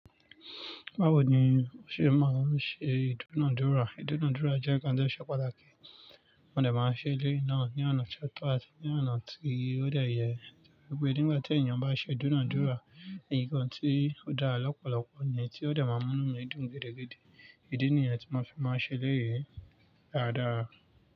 Báwo ni o ṣe máa ń ṣe ìdúnàádúrà? Ìdúnàádúrà jẹ́ ǹkan tó ṣe pàtàkì, mo dẹ̀ máa ń ṣe eléyìí náà ní ọ̀nà ṣọtọ́ àti ní ọ̀nà tí ó dẹ̀ ye. Gbogbo ẹní bá tí ènìyàn bá ṣe ìdúnàádúrà ni nǹkan tí ó dá lọ́pọ̀lọpọ̀ ni tí ó dá máa ń mú inú mi dùn gidi gidi. Ìdí nì yan tí mo fi máa ń ṣe e lé yìí dáadáa.